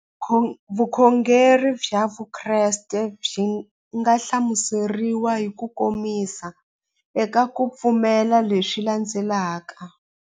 Vukhongeri bya Vukreste byi nga hlamuseriwa hi kukomisa eka ku pfumela leswi landzelaka.